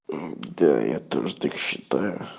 мм да я тоже так считаю